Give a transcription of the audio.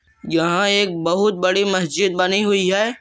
यहां एक बहुत बड़ी मस्जिद बनी हुई है।